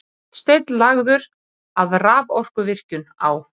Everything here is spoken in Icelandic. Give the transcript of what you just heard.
Hornsteinn lagður að raforkuvirkjun á